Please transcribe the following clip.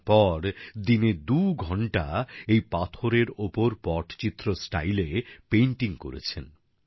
তারপর দিনে দু ঘন্টা এই পাথরের ওপর পটচিত্র স্টাইলে পেইন্টিং করেছেন